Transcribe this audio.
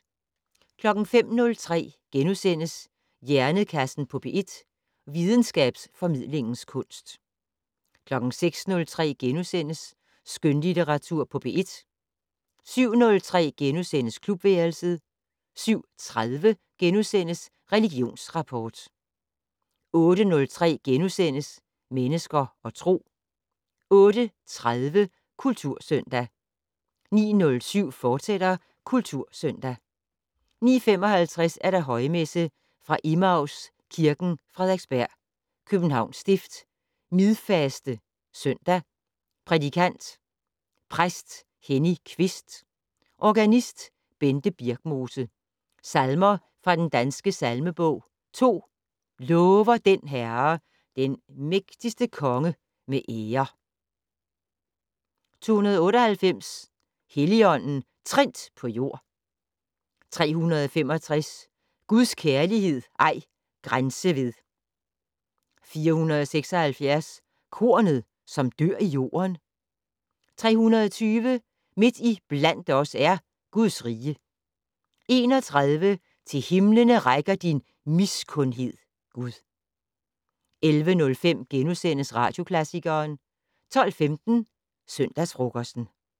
05:03: Hjernekassen på P1: Videnskabsformidlingens kunst * 06:03: Skønlitteratur på P1 * 07:03: Klubværelset * 07:30: Religionsrapport * 08:03: Mennesker og Tro * 08:30: Kultursøndag 09:07: Kultursøndag, fortsat 09:55: Højmesse - Fra Emmaus Kirken, Frederiksberg. Københavns Stift. Midfaste søndag. Prædikant: Præst Henny Kvist. Organist: Bente Birkmose. Salmer fra Den Danske Salmebog: 2 "Lover den Herre, den mægtige konge med ære!". 298 "Helligånden trindt på jord". 365 "Guds kærlighed ej grænse ved". 476 "Kornet, som dør i jorden". 320 "Midt i blandt os er Guds rige". 31 "Til himlene rækker din miskundhed Gud". 11:05: Radioklassikeren * 12:15: Søndagsfrokosten